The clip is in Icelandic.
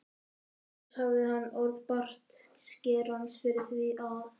Auk þess hafði hann orð bartskerans fyrir því að